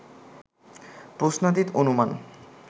প্রশ্নাতীত অনুমান